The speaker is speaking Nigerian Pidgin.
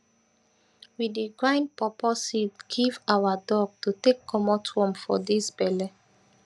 we dey grind pawpaw seed give awa dog to take commot worm for dis belle